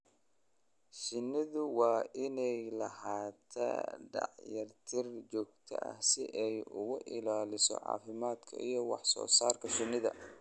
Shinnidu waa inay lahaataa dayactir joogto ah si ay u ilaaliso caafimaadka iyo wax soo saarka shinnida.